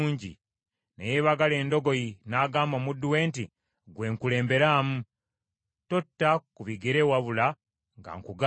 Ne yeebagala endogoyi, n’agamba omuddu we nti, “Ggwe kulemberamu, totta ku bigere wabula nga nkugambye.”